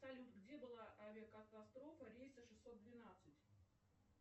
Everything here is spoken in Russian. салют где была авиакатастрофа рейса шестьсот двенадцать